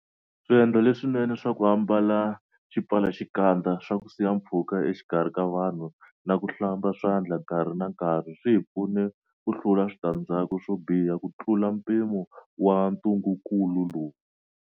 Swiendlo leswinene swa ku ambala xipfalaxikandza, swa ku siya mpfhuka exikarhi ka vanhu na ku hlamba swandla nkarhi na nkarhi swi hi pfune ku hlula switandzhaku swo biha kutlula mpimo wa ntungukulu lowu.